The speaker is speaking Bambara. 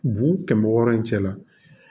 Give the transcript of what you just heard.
Bu kɛmɛ wɔɔrɔ in cɛ la